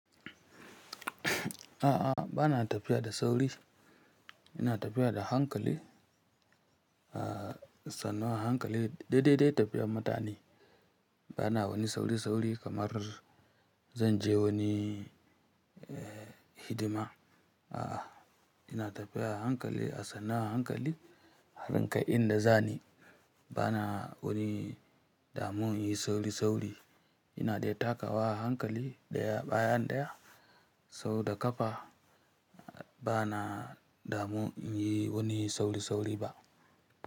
A'a, bana tafiya da sauri. Ina tafiya da hankali, a sannu a hankali, dai dai tafiyar mutane. Bana wani sauri sauri kamar zan je wani hidima. A'a, ina tafiya a hankali a sannu a hankali har in kai inda zani. Bana wani damu yin sauri sauri. Ina dai takawa hankali ɗaya bayan ɗaya, sau da ƙafa. Bana damu yin wani sauri sauri ba.